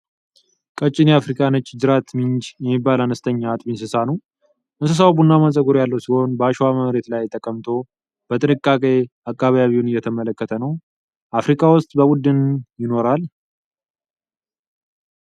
ቀጭን የአፍሪካ ነጭ ጅራት ሚንጅ የሚባል አነስተኛ አጥቢ እንስሳ ነው ። እንስሳው ቡናማ ፀጉር ያለው ሲሆን፣ በአሸዋማ መሬት ላይ ተቀምጦ በጥንቃቄ አካባቢውን እየተመለከተ ነው ። አፍሪካ ውስጥ በቡድን ይኖራል።